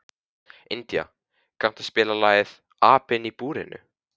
India, kanntu að spila lagið „Apinn í búrinu“?